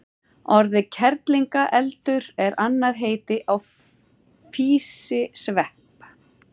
Orðið kerlingareldur er annað heiti á físisvepp.